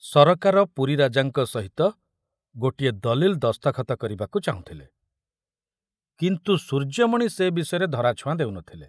ସରକାର ପୁରୀ ରାଜାଙ୍କ ସହିତ ଗୋଟିଏ ଦଲିଲ ଦସ୍ତଖତ କରିବାକୁ ଚାହୁଁଥିଲେ, କିନ୍ତୁ ସୂର୍ଯ୍ୟମଣି ସେ ବିଷୟରେ ଧରାଛୁଆଁ ଦେଉ ନଥିଲେ।